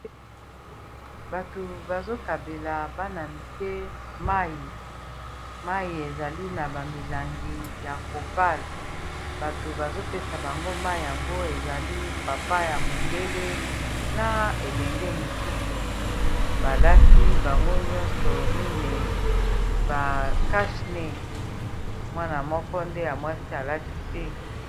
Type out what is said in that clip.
bato bazokabela bana mike mai ezali na bamilangi ya plastiques bato bazopesa bango mai yango ezali papa ya mondele na elenge mosusu balati bango nyonso mine ba cash nez mwana moko nde ya mwasi alati te